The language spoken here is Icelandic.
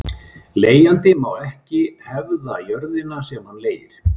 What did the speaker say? Leigjandi má ekki hefða jörðina sem hann leigir.